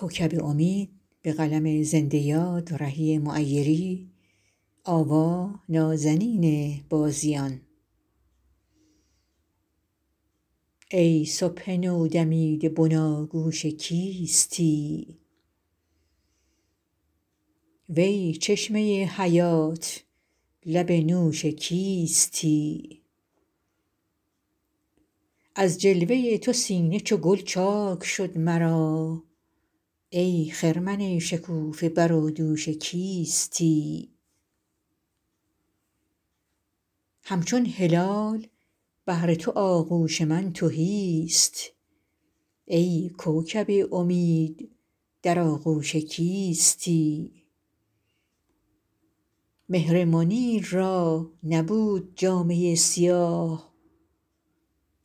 ای صبح نودمیده بناگوش کیستی وی چشمه حیات لب نوش کیستی از جلوه تو سینه چو گل چاک شد مرا ای خرمن شکوفه بر و دوش کیستی همچون هلال بهر تو آغوش من تهی است ای کوکب امید در آغوش کیستی مهر منیر را نبود جامه سیاه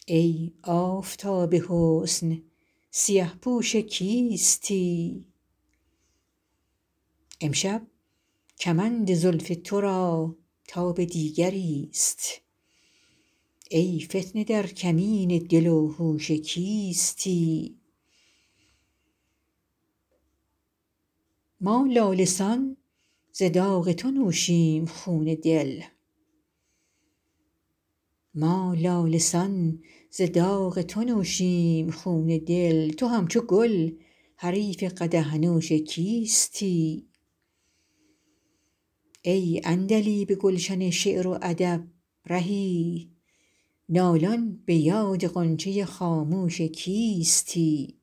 ای آفتاب حسن سیه پوش کیستی امشب کمند زلف ترا تاب دیگری است ای فتنه در کمین دل و هوش کیستی ما لاله سان ز داغ تو نوشیم خون دل تو همچو گل حریف قدح نوش کیستی ای عندلیب گلشن شعر و ادب رهی نالان به یاد غنچه خاموش کیستی